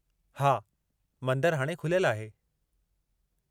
हा, मंदरु हाणे खुलियलु आहे।